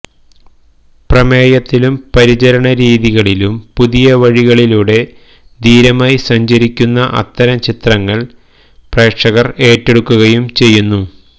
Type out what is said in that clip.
പ്രമേയത്തിലും പരിചരണ രീതികളിലും പുതിയ വഴികളിലൂടെ ധീരമായി സഞ്ചരിക്കുന്ന അത്തരം ചിത്രങ്ങള് പ്രേക്ഷകര് ഏറ്റെടുക്കുകയും ചെയ്യുന്നു